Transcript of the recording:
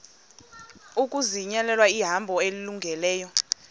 ukuzinyulela ihambo elungileyo